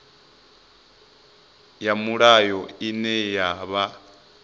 ya mulayo ine na vha